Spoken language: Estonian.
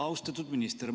Austatud minister!